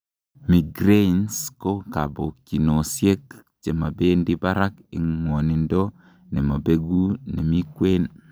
migraines ko kabokyinosiek chebendi barak en ngwonindo nemobeku nemikwen